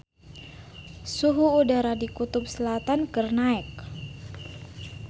Suhu udara di Kutub Selatan keur naek